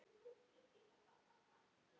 Er það bara þar?